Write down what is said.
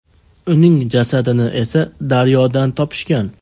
Uning jasadini esa daryodan topishgan.